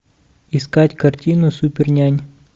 искать картину супернянь